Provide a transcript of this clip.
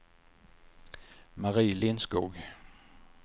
Mari Lindskog